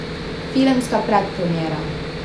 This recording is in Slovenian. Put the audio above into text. Filmska predpremiera.